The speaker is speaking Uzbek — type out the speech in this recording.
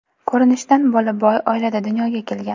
Ko‘rinishdan bola boy oilada dunyoga kelgan.